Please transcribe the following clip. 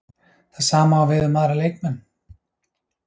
Það sama á við um aðra leikmenn?